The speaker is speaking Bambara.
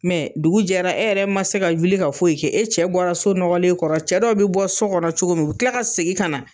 dugu jɛra e yɛrɛ ma se ka wuli ka foyi kɛ, e cɛ bɔra so nɔgɔlen kɔrɔ, cɛ dɔw be bɔ so kɔnɔ cogo min u bi tila ka segin kana